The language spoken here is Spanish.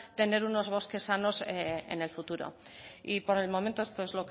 tener unos bosques sanos en el futuro y por el momento esto es